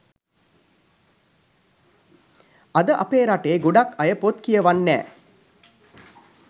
අද අපේ රටේ ගොඩක් අය පොත් කියවන් නෑ